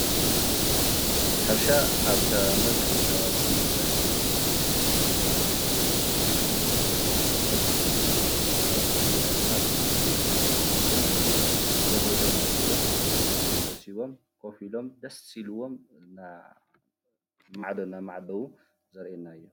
ሕርሻ ኣብ መብዛሕትኡ ከባቢታት ትግራይ ዝዝውተሩ ስራሕትታት ሓደ እንትኸውን እ.. መብዛሕትኡ ናይ ከባብታት ትግራይ ድማ ኣብ ሕርሻ ዝመሓደር እንትኸውን እዚ ሆሆ ኢሎም ወዲኦም ምህርቶም ሰብሲቦም ኮፍ ኢሎም ደስ ኢሎዎም ናብ ማዕዶ እናማዓደው ዘሪኤና እዩ፡፡